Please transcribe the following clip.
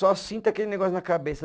Só sinto aquele negócio na cabeça.